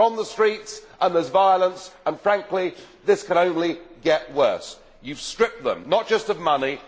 They are on the streets and there is violence, and frankly this can only get worse. You have stripped them not just of money